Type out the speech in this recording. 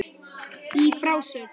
Í frásögn